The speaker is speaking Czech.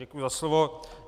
Děkuji za slovo.